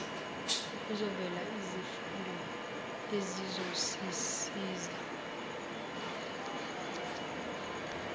kuzovela izifundo ezizosiza